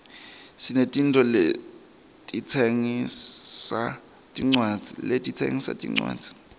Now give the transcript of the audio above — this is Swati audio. sinetitolo letitsengisa tincwadzi